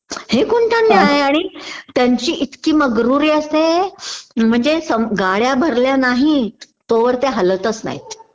हे कोणता न्याय आणि त्यांची इतकी मग्रुरी असते म्हणजे सम गाड्या भरल्या नाही तोवर ते हलतच नाहीत